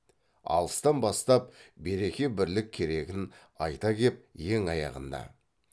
алыстан бастап береке бірлік керегін айта кеп ең аяғында